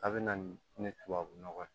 A bɛ na ni tubabu nɔgɔ ye